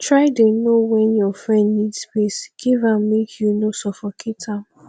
try dey know wen your friend need space give am make you no suffocate am